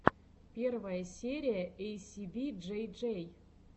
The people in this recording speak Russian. первая серия эйсиби джей джей